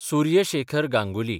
Surya Shekhar Ganguly